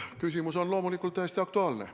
Küsimus on loomulikult täiesti aktuaalne.